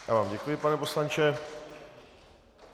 Já vám děkuji, pane poslanče.